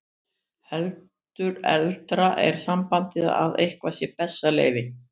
Heldur eldra er sambandið að eitthvað sé bessaleyfi.